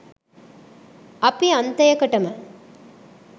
අපි අන්තයකටම